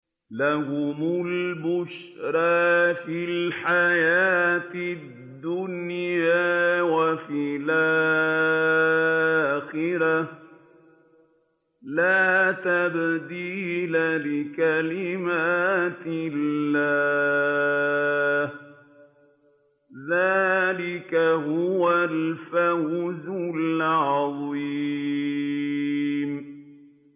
لَهُمُ الْبُشْرَىٰ فِي الْحَيَاةِ الدُّنْيَا وَفِي الْآخِرَةِ ۚ لَا تَبْدِيلَ لِكَلِمَاتِ اللَّهِ ۚ ذَٰلِكَ هُوَ الْفَوْزُ الْعَظِيمُ